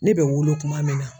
Ne bɛ wolo kuma min na